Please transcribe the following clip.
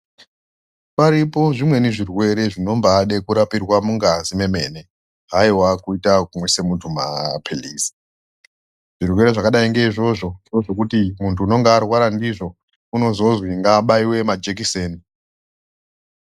Paripo zvimweni zvirwere zvinomba ade kurapirwa mungazi mwemene, haiwa kuita kuisa mundu mapirizi, zvirwere zvakadai ngeizvozvo ngozvekuti mundu unenge arwara ndizvozvo unozozwi ngaabaiwe majikiseni.